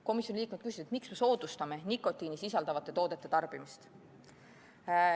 Komisjoni liikmed küsisid, miks me soodustame nikotiini sisaldavate toodete tarbimist.